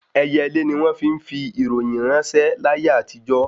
Ẹyẹlé ni wọ́n fi ń fi ìròyìn ráńṣẹ́ láyé àtijó